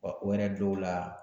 Wa o yɛrɛ dɔw la